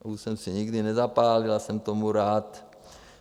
Už jsem si nikdy nezapálil a jsem tomu rád.